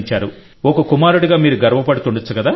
ఒక కుమారుడిగా మీరు గర్వపడుతుండవచ్చు కదా